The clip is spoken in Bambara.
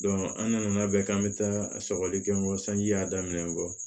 an nana labɛn k'an bɛ taa sɔgɔli kɛ kɔ sanji y'a daminen kɔ